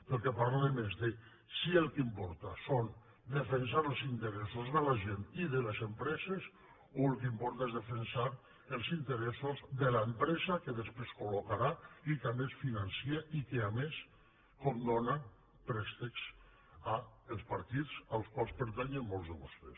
del que parlem és de si el que importa és defensar els interessos de la gent i de les empreses o el que importa és defensar els interessos de l’empresa que després colfinança i que a més condona préstecs als partits als quals pertanyen molts de vostès